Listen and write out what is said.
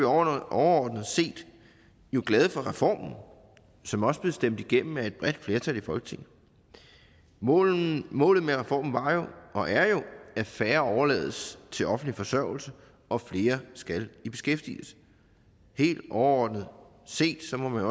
overordnet set glade for reformen som også blev stemt igennem af et bredt flertal i folketinget målet målet med reformen var jo og er jo at færre overlades til offentlig forsørgelse og flere skal i beskæftigelse helt overordnet set må man